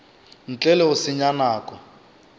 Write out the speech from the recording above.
ntle le go senya nako